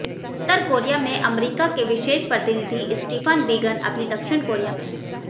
उत्तर Korea में अमरीका के विशेष प्रतिनिधि स्टीफ़न बीगन अभी दक्षिण कोरिया में हैं